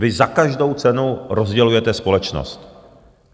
Vy za každou cenu rozdělujete společnost.